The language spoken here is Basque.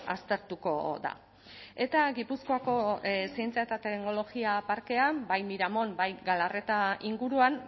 aztertuko da eta gipuzkoako zientzia eta teknologia parkean bai miramon bai galarreta inguruan